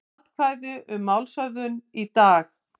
Atkvæði um málshöfðun í dag